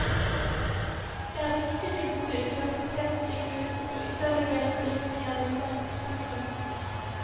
Det er viktig med gode universitetssykehus og ytterligere styrking av disse. punktum